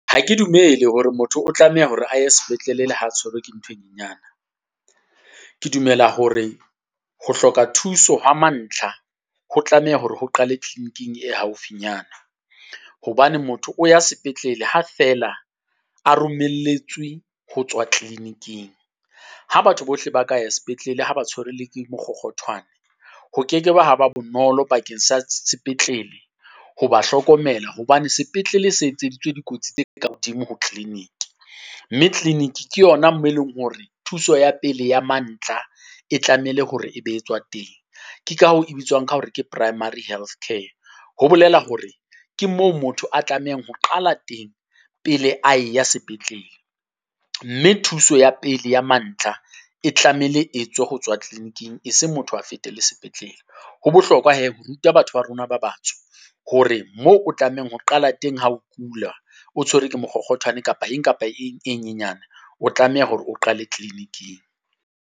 Ha ke dumele hore motho o tlameha hore a ye sepetlele le ha tshwerwe ke ntho e nyenyana, ke dumela hore ho hloka thuso ho wa mantlha ho tlameha hore ho qale clinic-ing e haufi nyana. Hobane motho o ya sepetlele ha feela a romelletswe ho tswa clinic-ing, ha batho bohle ba ka ya sepetlele ha ba tshwere le ke mokgokgothwane. Ho keke ba ha ba bonolo bakeng sa sepetlele ho ba hlokomela hobane sepetlele se etseditswe dikotsi tse ka hodimo ho clinic. Mme clinic ke yona moo e leng hore thuso ya pele ya mantla e tlamehile hore e be etswa teng, ke ka hoo e bitswang ka hore ke primary healthcare. Ho bolela hore ke moo motho a tlamehang ho qala teng pele ae ya sepetlele, mme thuso ya pele ya mantla e tlamehile e tswe ho tswa clinic-ing e seng motho a fetele sepetlele. Ho bohlokwa hee ho ruta batho ba rona ba batsho hore mo o tlamehang ho qala teng ha o kula. O tshwerwe ke mokgokgothwane kapa eng kapa eng e nyenyane, o tlameha hore o qale clinic-ing.